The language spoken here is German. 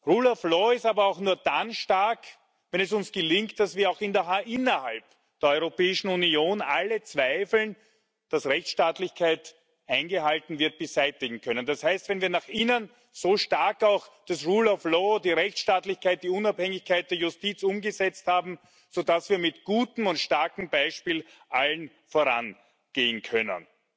Rule of law ist aber auch nur dann stark, wenn es uns gelingt, dass wir auch innerhalb der Europäischen Union alle Zweifel darüber, ob Rechtsstaatlichkeit eingehalten wird, beseitigen können das heißt, wenn wir auch nach innen das rule of law die Rechtsstaatlichkeit, die Unabhängigkeit der Justiz so stark umgesetzt haben, dass wir mit gutem und starkem Beispiel allen vorangehen können.